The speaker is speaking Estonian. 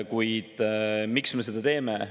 Kuid miks me seda teeme?